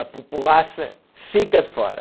A populaça fica de fora.